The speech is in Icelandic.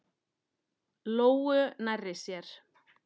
Lóu nærri sér.